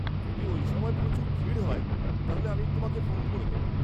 যদি ওই সময় প্রচুর ভিড় হয় তাহলে আমি তোমাকে ফোন করে দেব।